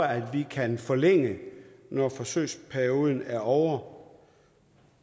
vi kan forlænge når forsøgsperioden er ovre